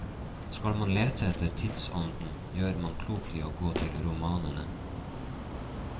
Skal man lete etter tidsånden, gjør man klokt i å gå til romanene.